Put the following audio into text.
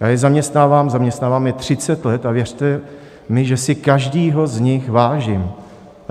Já je zaměstnávám, zaměstnávám je 30 let, a věřte mi, že si každého z nich vážím.